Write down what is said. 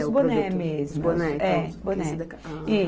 É o produto. Os bonés mesmo. Os bonés, então. Os bonés